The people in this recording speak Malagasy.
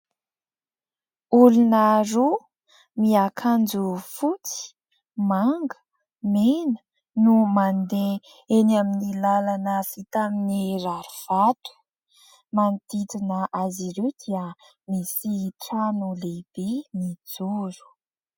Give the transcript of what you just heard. Olona roa, miakanjo fotsy, manga, mena no mandeha eny amin'ny lalana vita amin'ny rarivato. Ny manodidina azy ireo dia misy trano lehibe mijoro.